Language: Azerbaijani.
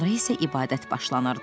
Sonra isə ibadət başlanırdı.